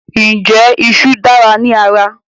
Ǹjẹ́ ìṣù dára ní ara?